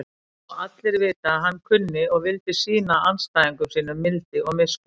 Og allir vita að hann kunni og vildi sýna andstæðingum sínum mildi og miskunn.